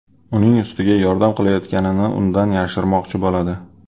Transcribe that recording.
Uning ustiga yordam qilayotganini undan yashirmoqchi bo‘ladi.